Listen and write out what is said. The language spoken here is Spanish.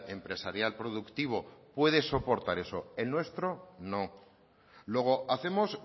empresarial productivo puede soportar eso el nuestro no luego hacemos